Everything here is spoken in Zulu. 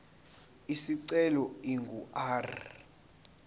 isicelo ingu r